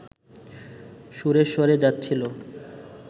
সুরেশ্বরে যাচ্ছিল